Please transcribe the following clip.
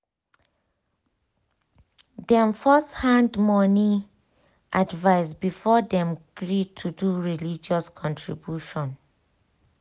dem first find money advice before dem agree to dey do religious contribution well